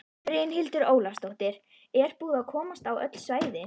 Brynhildur Ólafsdóttir: Er búið að komast á öll svæði?